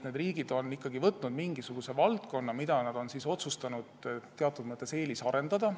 Need riigid on ikkagi valinud mingisuguse valdkonna, mida nad on otsustanud teatud mõttes eelisarendada.